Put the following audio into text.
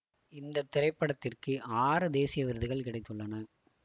இந்த திரைப்படத்திற்கு ஆறு தேசிய விருதுகள் கிடைத்துள்ளன